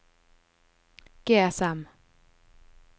GSM